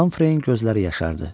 Hamfreyin gözləri yaşardı.